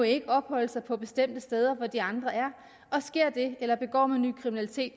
ikke må opholde sig på bestemte steder hvor de andre er og sker det eller begår man ny kriminalitet